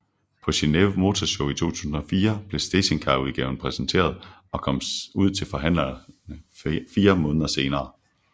På Geneve Motor Show 2004 blev stationcarudgaven præsenteret og kom ud til forhandlerne fire måneder senere